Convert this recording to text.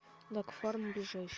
дагфарм ближайший